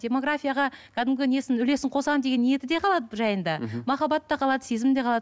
демографияға кәдімгі несін үлесін қосамын деген ниеті де қалады жайында мхм махаббат та қалады сезім де қалады